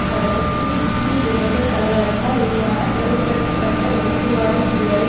தொடக்கத்தில் முஸ்லிம் விரோத கலவரத்தால் உருவான பிளவுபடுத்தப்பட்ட வகுப்புவாத சூழலை